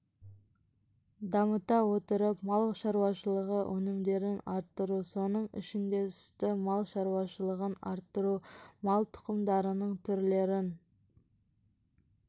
дамыта отырып мал шаруашылығы өнімдерін арттыру соның ішінде сүтті мал шаруашылығын арттыру мал тұқымдарының түрлерін